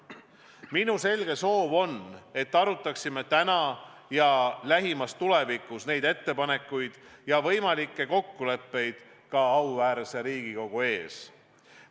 Minu selge soov on see, et arutaksime täna ja lähimas tulevikus neid ettepanekuid ja võimalikke kokkuleppeid ka auväärse Riigikogu ees.